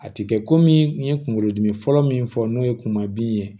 A ti kɛ komi n ye kunkolodimi fɔlɔ min fɔ n'o ye kuma bin ye